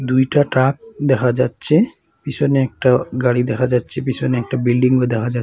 দুইটা ট্রাক দেখা যাচ্ছে পিছনে একটা গাড়ি দেখা যাচ্ছে পিছনে একটা বিল্ডিংও দেখা যা--